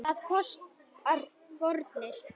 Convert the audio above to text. Það kostar fórnir.